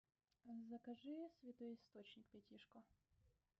закажи святой источник пятишку